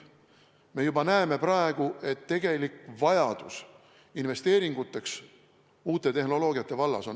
Me näeme juba praegu, et uute tehnoloogiate vallas on tegelik vajadus investeeringuteks väga suur.